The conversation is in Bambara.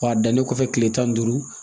W'a dannen kɔfɛ tile tan ni duuru